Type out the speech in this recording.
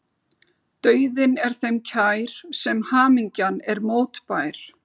Dauðinn er þeim kær sem hamingjan er mótbær.